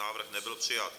Návrh nebyl přijat.